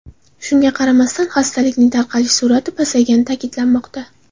Shunga qaramasdan, xastalikning tarqalish sur’ati pasayganligi ta’kidlanmoqda.